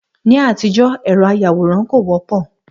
Ní àtijọ́, ẹ̀rọ àyawòran kò wọ́pọ̀